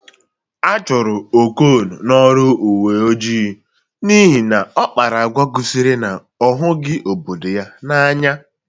A chụrụ Okon n'ọrụ uwe ojii n'ihi na ọ kpara agwa gosiri na ọ hụghị obodo ya n'anya.